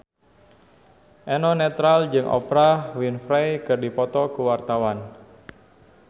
Eno Netral jeung Oprah Winfrey keur dipoto ku wartawan